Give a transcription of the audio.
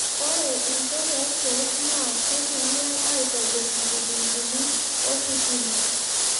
Ore inchot oorkeej naa kitumiaai atobirr inkikingini ositima